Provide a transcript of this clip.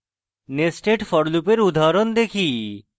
nested for loop এর উদাহরণ দেখি